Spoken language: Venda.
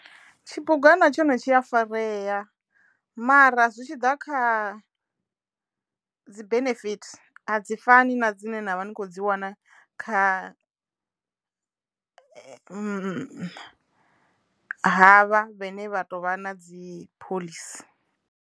Tshibugwana tshone tshi afarea mara zwi tshi ḓa kha dzi benefit a dzi fani na dzine na vha ni kho dzi wana kha havha vhene vha to vha na dzi phoḽisi.